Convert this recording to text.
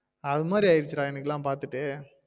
அது மாரி ஆயிடுச்சு எனக்குல பாத்திட்டு